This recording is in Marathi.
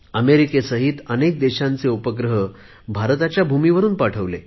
अमेरिकेसहित अनेक देशांचे उपग्रह भारताच्या भूमीवरुन पाठवले